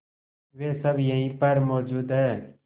वे सब यहीं पर मौजूद है